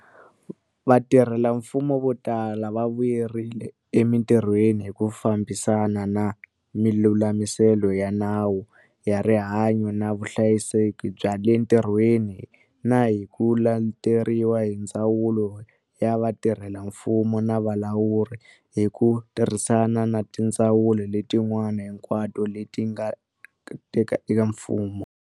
Vatirhelamfumo vo tala va vuyerile emitirhweni hi ku fambisana na milulamiselo ya Nawu wa Rihanyo na Vuhlayiseki bya le Ntirhweni na hi ku leteriwa hi Ndzawulo ya Vatirhelamfumo na Vulawuri, hi ku tirhisana na tindzawulo letin'wana hinkwato leti nga eka mfumo.